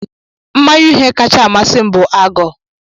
Mmanya uhie kachasị amasị m bụ Ágọ́